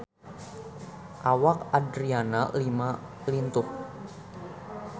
Awak Adriana Lima lintuh